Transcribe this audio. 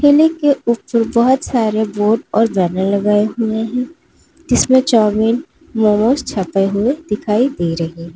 Railing के ऊपर बहोत सारे बोर्ड और बैनर लगाए हुए हैं जिसमें चाऊमीन मोमोज छपे हुए दिखाई दे रहे हैं।